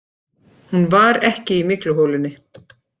Hún var ekki í mygluholunni.